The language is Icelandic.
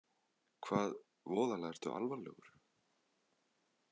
Hvað, voðalega ertu alvarlegur.